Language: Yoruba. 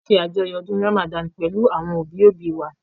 A ṣe àjọyọ̀ ọdún Ràmàdán pẹ̀lú àwọn òbí òbí wa